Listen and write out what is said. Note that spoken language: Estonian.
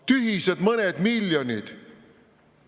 Tühised mõned miljonid!